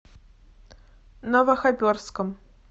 новохоперском